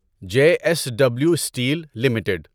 J S W steel limited